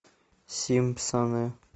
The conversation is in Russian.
симпсоны